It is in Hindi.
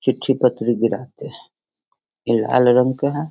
चिट्ठी पत्र भी रहते हैं ये लाल रंग का है।